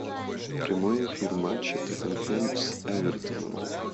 прямой эфир матча тоттенхэм с эвертоном